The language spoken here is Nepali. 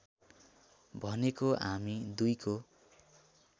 भनेको हामी दुईको